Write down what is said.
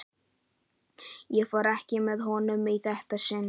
Ég fór ekki með honum í þetta sinn.